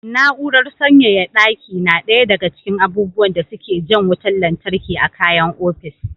Na'urar sanyaya ɗaki na ɗaya daga cikin abubuwan da suke jan wutar lantarki a kayan ofis.